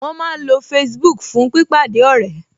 Wọ́n máa ń lo Facebook fún pípàdé ọ̀rẹ́